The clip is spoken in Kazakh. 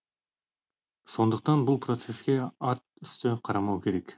сондықтан бұл процеске атүсті қарамау керек